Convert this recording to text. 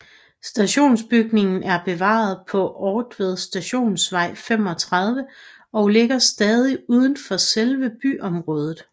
Stationsbygningen er bevaret på Ortved Stationsvej 35 og ligger stadig uden for selve byområdet